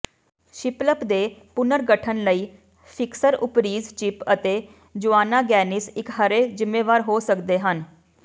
ਸ਼ਿਪਲਪ ਦੇ ਪੁਨਰਗਠਨ ਲਈ ਫਿਕਸਰ ਓਪਰੀਜ਼ ਚਿੱਪ ਅਤੇ ਜੋਆਨਾ ਗੈਨਿਸ ਇਕਹਿਰੇ ਜ਼ਿੰਮੇਵਾਰ ਹੋ ਸਕਦੇ ਹਨ